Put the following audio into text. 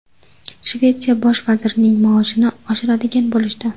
Shvetsiya bosh vazirining maoshini oshiradigan bo‘lishdi.